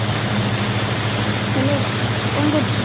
hello କଣ କରୁଛୁ